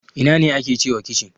Ina ne ake cewa kicin?